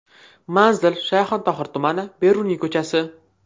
Manzil: Shayxontohur tumani, Beruniy ko‘chasi.